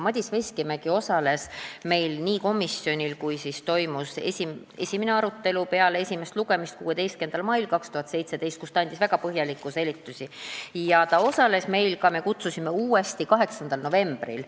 Madis Veskimägi osales meil komisjonis, kui toimus esimene arutelu peale esimest lugemist, 16. mail 2017, ta andis väga põhjalikke selgitusi, ja me kutsusime ta uuesti komisjoni 8. novembril.